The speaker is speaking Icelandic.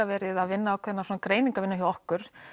verið að vinna ákveðna svona greiningarvinnu hjá okkur